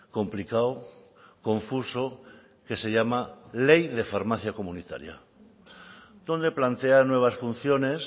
complicado confuso que se llama ley de farmacia comunitaria donde plantea nuevas funciones